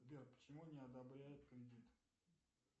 сбер почему не одобряют кредит